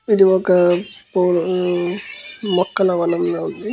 ఇది ఒక పుల ఆ మొక్కల వణం లా ఉంది.